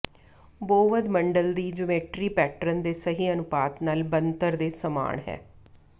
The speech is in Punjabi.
ਬੌਵਧ ਮੰਡਲ ਦੀ ਜਿਉਮੈਟਰੀ ਪੈਟਰਨ ਦੇ ਸਹੀ ਅਨੁਪਾਤ ਨਾਲ ਬਣਤਰ ਦੇ ਸਮਾਨ ਹੈ